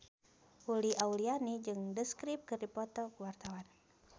Uli Auliani jeung The Script keur dipoto ku wartawan